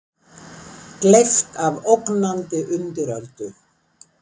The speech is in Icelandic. Gleypt af ógnandi undiröldu?